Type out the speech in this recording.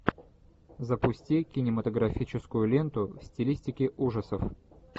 запусти кинематографическую ленту в стилистике ужасов